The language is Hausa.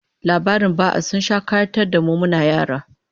Labaran ba'a sun sha kayatar da mu muna yara